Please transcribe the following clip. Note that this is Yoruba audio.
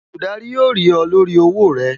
Olùdarí ó rí ọ lórí owó rẹ